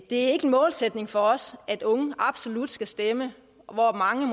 det er ikke en målsætning for os at unge absolut skal stemme og mange